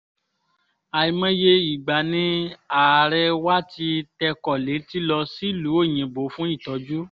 àìmọye ìgbà ni ààrẹ wà tí tẹkọ̀ létí lọ sílùú òyìnbó fún ìtọ́jú